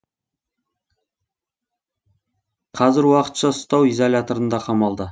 қазір уақытша ұстау изоляторына қамалды